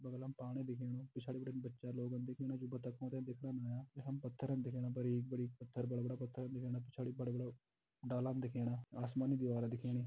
बगलम पाणी दिखेणु पिछाड़ी बिटिन बच्चा लोगन दिखेणा जू बातकों त देखण आयां यखम पत्थर दिखेणा बरिक-बरिक पत्थर बड़ा-बड़ा पत्थर दिखेणा पिछाड़ी बड़ा-बड़ा डालान दिखेणा आसमानी दिवार दिखेणी।